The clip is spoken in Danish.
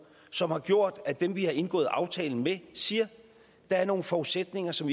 som har gjort at dem vi har indgået aftalen med siger at der er nogle forudsætninger som